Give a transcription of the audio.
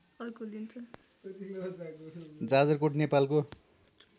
जाजरकोट नेपालको